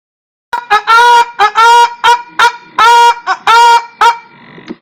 ụlọ dị ọcha na-enye aka um belata nrụgide ma um na-egbochi ọrịa n’etiti ụmụ anụ ọkụkọ.